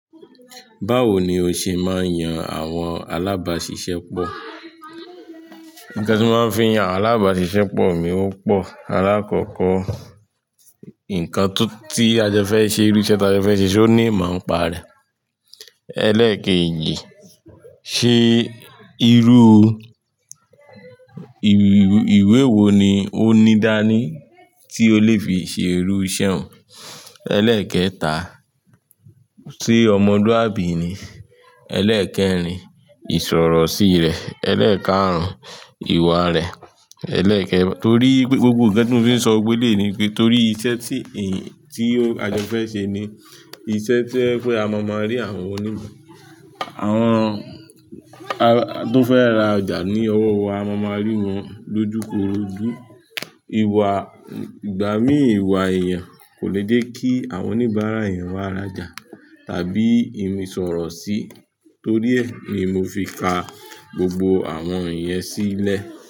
Báwo ni o ṣe máa ń yan àwọn alábàáṣiṣẹ́ pọ̀? Nǹkan tí mo máa ń fi yan àwọn alábáṣiṣẹ́ pọ̀ mi o pọ̀. Alákọ̀ọ́kọ́, nǹkan tí a jọ fẹ́ ṣe irú iṣẹ́ tí a jọ fẹ́ ṣe ṣé ó ní ìmọ̀ ń pa rẹ̀. Ẹlẹ́kẹ́ èjì, ṣe irú ìwé wo ni ó ní dání tí ó lè fi ṣe irú iṣẹ́ òun? Ẹlẹ́kẹ́ẹ̀ta, ṣe ọmọlúàbí ni. Ẹlẹ́kẹ́ẹ̀rin, ìsọ̀rọ̀ sí rẹ̀. Ẹlẹ́kẹ́àrún, ìwà rẹ̀. Ẹlẹ́kẹ́ẹ̀, torí pé gbogbo nǹkan tí mo fi ń sọ gbogbo eleyi ni pé torí iṣẹ́ tí a jọ fẹ́ ṣe ni iṣẹ́ tí ó jẹ́ pé a ma máa rí àwọn oni àwọn tó fẹ́ ra ọjà ní ọwọ́ wa, a ma máa mọ rí wọn lójukorojú. Ìwà ìgbà mí ìwà èèyàn kò ni jẹ́ kí àwọn oníbàárà èèyàn wá ra ọjà tàbí ìsọ̀rọ̀ sí torí ẹ ni mo fi ka gbogbo àwọn ìyẹn sílẹ̀.